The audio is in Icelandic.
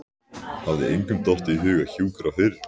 Hafði engum dottið í hug að hjúkra fyrr?